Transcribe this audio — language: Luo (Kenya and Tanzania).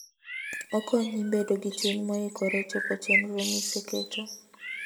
Okonyi bedo gi chuny moikore chopo chenro miseketo.